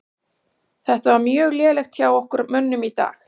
Þetta var mjög lélegt hjá okkar mönnum í dag.